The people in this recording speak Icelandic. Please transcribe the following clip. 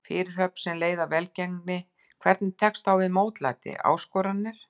Fyrirhöfn sem leið að velgengni Hvernig tekstu á við mótlæti, áskoranir?